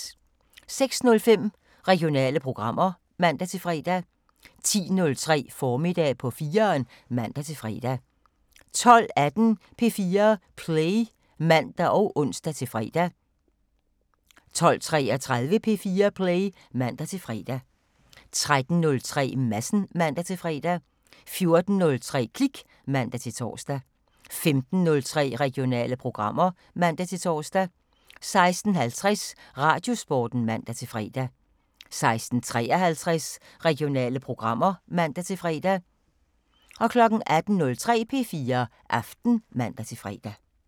06:05: Regionale programmer (man-fre) 10:03: Formiddag på 4'eren (man-fre) 12:18: P4 Play (man og ons-fre) 12:33: P4 Play (man-fre) 13:03: Madsen (man-fre) 14:03: Klik (man-tor) 15:03: Regionale programmer (man-tor) 16:50: Radiosporten (man-fre) 16:53: Regionale programmer (man-fre) 18:03: P4 Aften (man-fre)